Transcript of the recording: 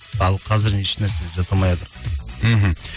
ал қазір еш нәрсе жасамайатырқ мхм